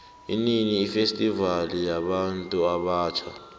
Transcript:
inini ifestivali yabuntu abatjha